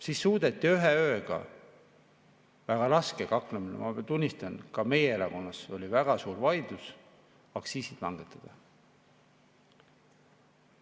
Siis suudeti ühe ööga väga raske kaklemise – ma tunnistan, et ka meie erakonnas oli väga suur vaidlus – aktsiisid langetada.